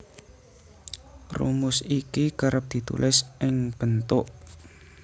Rumus iki kerep ditulis ing bentuk